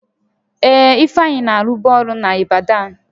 Ee, Ifeanyị na-alụbụ ọrụ n'Ịbadan